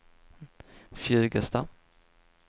Fjugesta